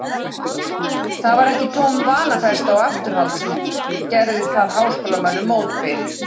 Það var ekki tóm vanafesta og afturhald, sem gerði þar háskólamönnum mótbyr.